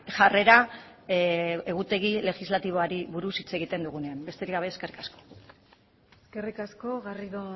jarrera egutegi legislatiboari buruz hitz egiten dugunean besterik gabe eskerrik asko eskerrik asko garrido